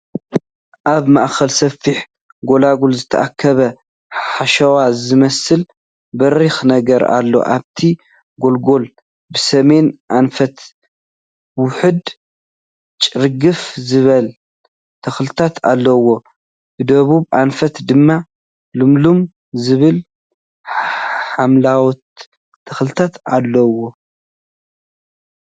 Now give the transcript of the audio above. ኣብ ማእከል ሰፊሕ ጎልጎል ዝተኣከበ ሓሸዋ ዝመስል በሪክ ነገር ኣሎ፡፡ ኣብቲ ጎልጎል ብሰሜን ኣንፈት ውሑድ ጭርግፍ ዝበሉ ተክልታት ኣለውዎ ብደቡብ ኣንፈት ድማ ልምልም ዝበሉ ሓምለዎት ተክልታት ኣለውዎ፡፡